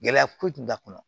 Gɛlɛya foyi tun t'a kɔnɔ